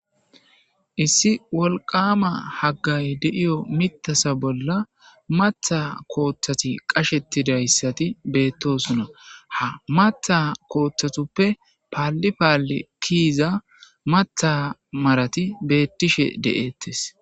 issi wolqama haggay de7iyo mitasa bolla matha kooththati qashetidayssati beettosuna ha matha kooththatuppe paalli paalli kiiza matha marati beettishe de7ettes